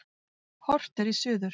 Horft er í suður.